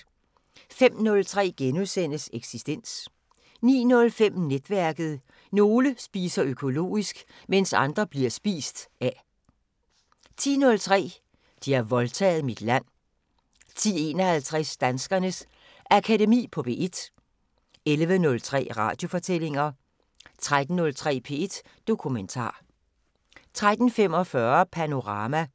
05:03: Eksistens * 09:05: Netværket: Nogle spiser økologisk, mens andre bliver spist af 10:03: De har voldtaget mit land 10:51: Danskernes Akademi på P1 11:03: Radiofortællinger 13:03: P1 Dokumentar 13:45: Panorama